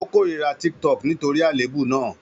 Ó kórìíra TikTok nítorí àléébù náà.